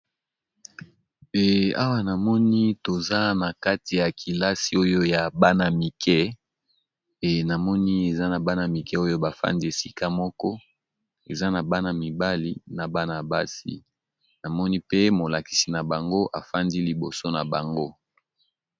Awa namoni toza na kati ya kelasi ya bana, kelasi yango tomoni bana basi pe mibali